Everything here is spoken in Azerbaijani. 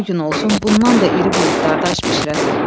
Gün o gün olsun, bundan da iri buludlar da aş bişirəsən.